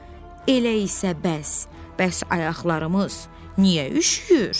Elə isə bəs, bəs ayaqlarımız niyə üşüyür?